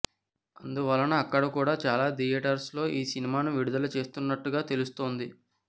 అందువలన అక్కడ కూడా చాలా థియేటర్స్ లో ఈ సినిమాను విడుదల చేస్తున్నట్టుగా తెలుస్తోంది